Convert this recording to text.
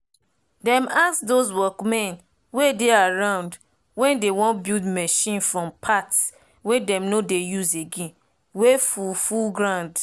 dem ask dos workmen wey dey around wen dey wan build marchin from parts wey dem nor dey use again wey full full ground